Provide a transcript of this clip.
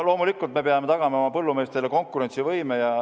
Loomulikult me peame tagama oma põllumeestele konkurentsivõime.